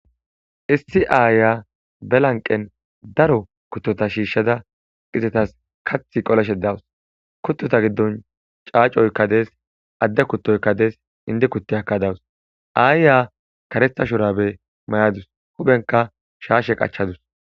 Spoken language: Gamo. Issi aaya belanqen daro kuttota shiishshada qizetas kath qoleshe dawus kuttota giddon caacoykka des adde kuttoykka des indi kutti akka dawus aayya karetha shorabe may'adus hubenka shaashe qachadus